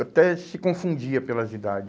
Até se confundia pelas idades.